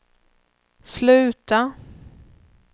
sluta